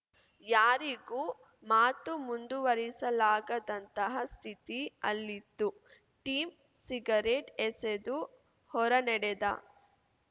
ಯಾರಿಗೂ ಮಾತು ಮುಂದುವರೆಸಲಾಗದಂತಹ ಸ್ಥಿತಿ ಅಲ್ಲಿತ್ತು ಟಿಮ್‌ ಸಿಗರೇಟ್ ಎಸೆದು ಹೊರನಡೆದ